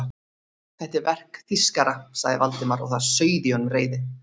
Þetta er verk þýskara sagði Valdimar og það sauð í honum reiðin.